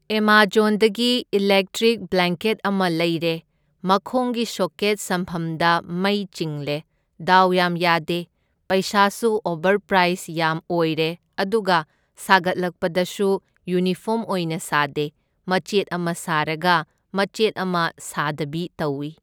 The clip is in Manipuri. ꯑꯦꯃꯥꯓꯣꯟꯗꯒꯤ ꯏꯂꯦꯛꯇ꯭ꯔꯤꯛ ꯕ꯭ꯂꯦꯡꯀꯦꯠ ꯑꯃ ꯂꯩꯔꯦ, ꯃꯈꯣꯡꯒꯤ ꯁꯣꯀꯦꯠ ꯁꯝꯐꯝꯗ ꯃꯩ ꯆꯤꯡꯂꯦ, ꯗꯥꯎ ꯌꯥꯝ ꯌꯥꯗꯦ꯫ ꯄꯩꯁꯥꯁꯨ ꯑꯣꯕꯔꯄ꯭ꯔꯥꯏꯁ ꯌꯥꯝ ꯑꯣꯏꯔꯦ, ꯑꯗꯨꯒ ꯁꯥꯒꯠꯂꯛꯄꯗꯁꯨ ꯌꯨꯅꯤꯐꯣꯝ ꯑꯣꯏꯅ ꯁꯥꯗꯦ, ꯃꯆꯦꯠ ꯑꯃ ꯁꯥꯔꯒ ꯃꯆꯦꯠ ꯑꯃ ꯁꯥꯗꯕꯤ ꯇꯧꯢ꯫